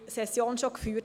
Seite 29 im RPB 2018